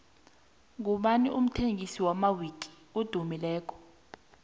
ngubani umthengisi wamawiki edumileko